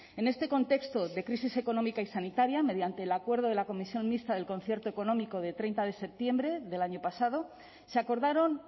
en este contexto de crisis económica y sanitaria mediante el acuerdo de la comisión mixta del concierto económico de treinta de septiembre del año pasado se acordaron